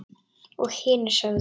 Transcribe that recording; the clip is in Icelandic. Og hinir sögðu: